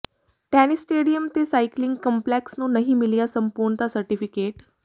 tennis stadium ਤੇ cycling complex ਨੂੰ ਨਹੀਂ ਮਿਲਿਆ ਸੰਪੂਰਨਤਾ ਸਰਟੀਫਿਕੇਟ